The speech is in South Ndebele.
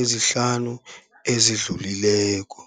ezihlanu ezidlulileko.